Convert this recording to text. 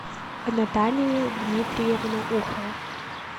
наталию дмитриевну ухову